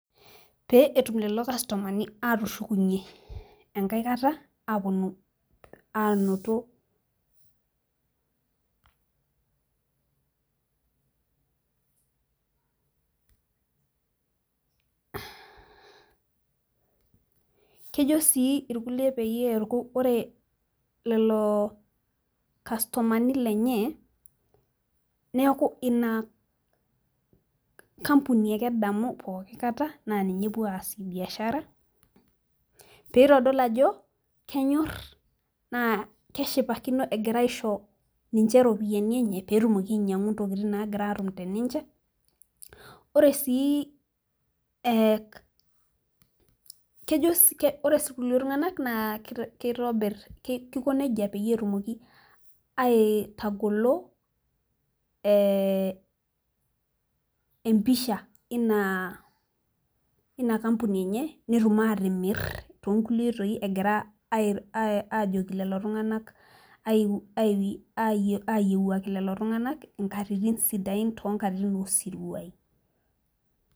Pee etum lelo kastomani aatushukunye, enkae kata aapuonu aanoto, kejo sii irkulie peyie neeku ore lelo kastomani lenye, neeku Ina kampuni ake edamu pooki kata naa ninye epuo aasie ibiashara pee itodolu ajo kenyor naa keshipakino egira aisho ninche iropiyiani enye pee etumoki ainyiangu ntokitin naagirae ainyiangu te ninche, ore sii kejo sii ore sii kulie tunganak naa kitobir, Kiko nejia pee etumoki aitagolo empisja eina kampuni enye netum aatimir too nkulie oitoi egiraa aajoki lelo tunganak aiyiewuaki lelo tunganak inkatitin sidain too nkatitin oosiruai.